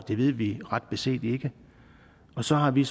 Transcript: det ved vi ret beset ikke og så har vi